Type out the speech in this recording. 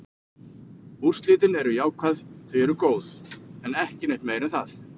Úrslitin eru jákvæð, þau eru góð, en ekki neitt meira en það.